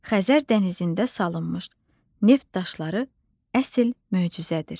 Xəzər dənizində salınmış Neft Daşları əsl möcüzədir.